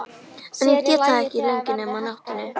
En ég get það ekki lengur nema á nóttunni.